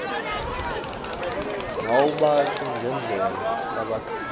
nawubabuka ngendlela labahleti